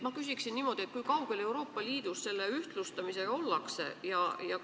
Ma küsiksin niimoodi: kui kaugel Euroopa Liidus selle ühtlustamisega ollakse?